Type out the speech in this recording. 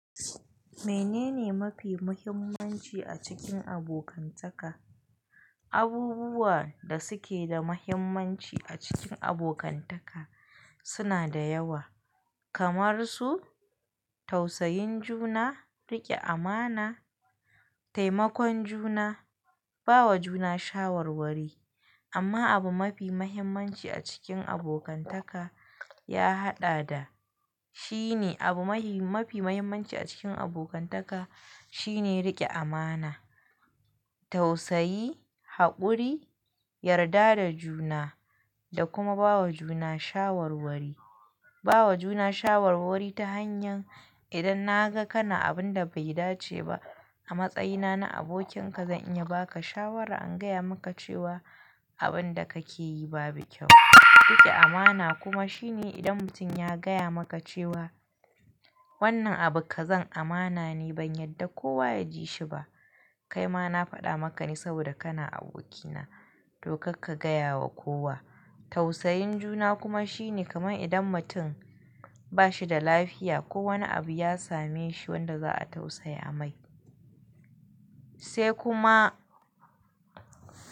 Menene mafi muhimmanci a cikin abokantaka? Abubuwa da suke da mahimmanci a cikin abokantaka suna da yawa, kamar su tausayin juna, riƙe amana, taimakon juna, bawa juna shawarwari. Amma abu mafi muhimmanci a cikin abokantaka, ya haɗada, shi ne abu mafi muhimmanci a cikin abokantaka shi ne riƙe amana, tausayi, haƙuri, yarda da juna da kuma bawa juna shawarwari. Bawa juna shawarwari ta hanyan idan naga kana abun da bai dace ba a matsayina na abokinka zan iya baka shawara, an gaya maka cewa abin da kake yi babu kyau. Riƙe amana kuma shine idan mutum ya gaya maka cewa wannan abu ka zan amana ne ban yadda kowa ya ji shi ba. Kai ma na faɗa maka ne saboda kana abokina, to karka gaya wa kowa. Tausayin juna kuma shine kaman idan mutum ba shi da lafiya ko wani abu ya same shi wanda za a tausaya mai. Sai kuma.